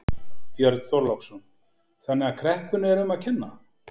Björn Þorláksson: Þannig að kreppunni er um að kenna?